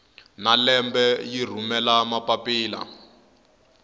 na lembe yi rhumela mapapila